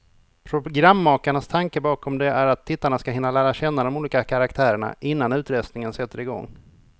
Programmakarnas tanke bakom det är att tittarna ska hinna lära känna de olika karaktärerna, innan utröstningen sätter igång.